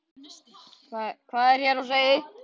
Hvað er hér á seyði?